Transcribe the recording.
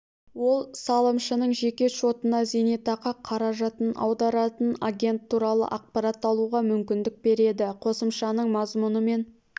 ол салымшының жеке шотына зейнетақы қаражатын аударатын агент туралы ақпарат алуға мүмкіндік береді қосымшаның мазмұнымен